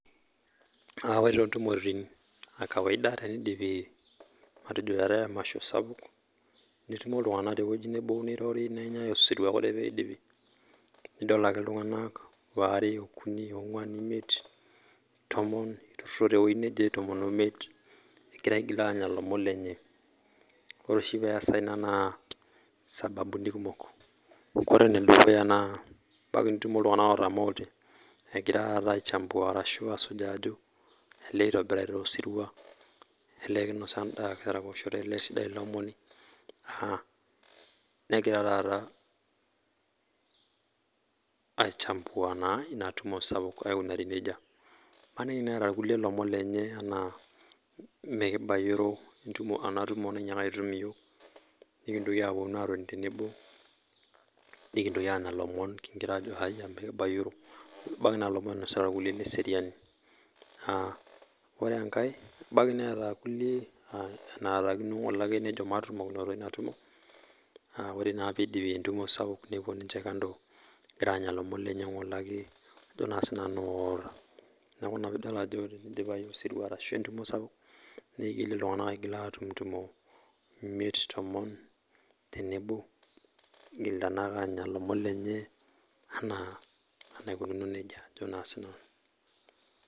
Ore taa tontumoritin ee kawaida teneidipi atejo are eetae emasho sapuk netumo ltunganak te wueji nebo nirori nenyae osirua idol ake ltunganak Oare ashu okuni oo nguan imiet tomon eitururo te wueji nebo aa tomon oo imiet egira aitururo te wueji nebo aanya lomon lenye ore oshi pee easa ina naa sababuni kumok ore enedukuya naa ketumo ltunganak otamoote egira aichambua arashu asujaa ajo eitobirari taa osirua arashu olee kinosa endaa arashu kitaraposhote tele sirua naa negira taata aaichambua ele sirua imaniki naaji eeta rkulie lomon lenye anaa mekibayioro ena tumo nanyaaka aitutum iyiok pee kintoki apuonu atoni tenebo nikintoki aanya lomon tenebo kingirra ajo haiya amu mikibayiorro ebaiki naa lomon inosita rkulie le seriani ahh ore enkae ebaiki neeta rkulie naatakino nejo matupudakinoto ina tumo aah ore naa pee eidipi entumo sapuk nepuo ninche kando egirra aanya lomon lenye ngole ake ajo nasinanu aota niaku naa pii idol ajo are pee eidipi osirua arashu entumo sapuk neigil ltunganak atumo tenebo egira naake anya lomon lenye enaa enaikununo nejia ajo nasinanu